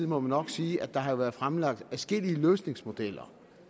må vi nok sige at der jo har været fremlagt adskillige løsningsmodeller